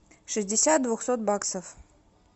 шестьдесят двухсот баксов